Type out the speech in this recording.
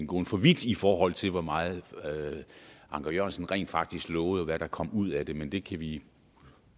gå for vidt i forhold til hvor meget anker jørgensen faktisk lovede og hvad der kom ud af det men det kan vi